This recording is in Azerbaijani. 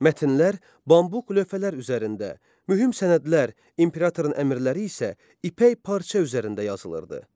Mətnlər bambuq lövhələr üzərində, mühüm sənədlər, imperatorun əmrləri isə ipək parça üzərində yazılırdı.